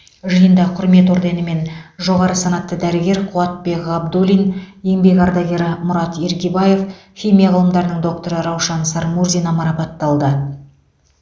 жиында құрмет орденімен жоғары санатты дәрігер қуатбек ғабдуллин еңбек ардагері мұрат иргибаев химия ғылымдарының докторы раушан сармурзина марапатталды